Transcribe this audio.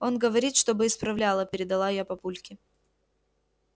он говорит чтобы исправляла передала я папульке